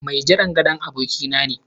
Mai jiran gado abokina ne.